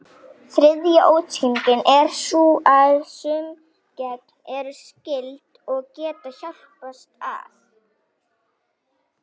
Þriðja útskýringin er sú að sum gen eru skyld, og geta hjálpast að.